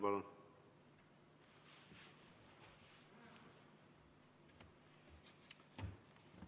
Palun!